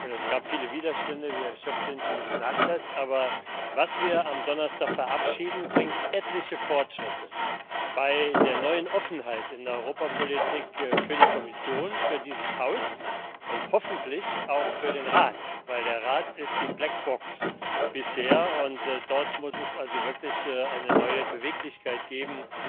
Es gab viele Widerstände, wie Herr Schöpflin schon gesagt hat aber Was wir am Donnerstag verabschieden, bringt etliche Fortschritte bei der neuen Offenheit in der Europapolitik, für die Kommission, für dieses Haus und hoffentlich auch für den Rat, weil der Rat bisher die Blackbox ist, und dort muss es wirklich eine neue Beweglichkeit geben,